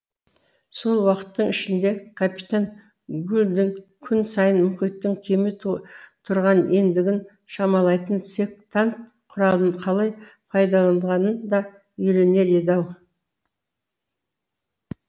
сол уақыттың ішінде капитан гульдің күн сайын мұхиттың кеме тұрған ендігін шамалайтын сектант құралын қалай пайдаланғанын да үйренер еді ау